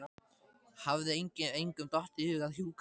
Hafði engum dottið í hug að hjúkra fyrr?